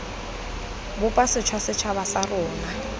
bopa sešwa setšhaba sa rona